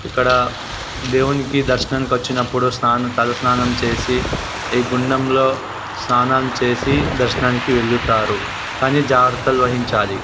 ఇక్కడ దేవునికి దర్శనానికి వచ్చినప్పుడు స్నాన్ తలస్నానం చేసి ఈ గుండంలో స్నానం చేసి దర్శనానికి వెల్లుతారు. కానీ జాగ్రత్తలు వహించాలి.